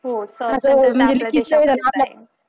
हो.